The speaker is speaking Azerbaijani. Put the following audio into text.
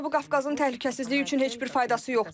Nanonun Cənub Qafqazın təhlükəsizliyi üçün heç bir faydası yoxdur.